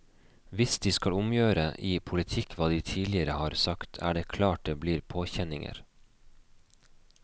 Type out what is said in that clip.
Hvis de skal omgjøre i politikk hva de tidligere har sagt, er det klart det blir påkjenninger.